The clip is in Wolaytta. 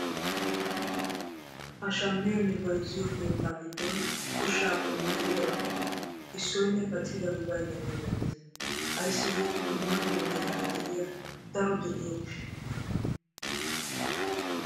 Ha shammiyoonne bayzziyoo keettaa giddon ushsha qommo gididabatuppe issoynne paccidabi baynnaba milattees. ayssi giikko dumma dumma meraara de'iyaa daro de'iyoo giishshawu.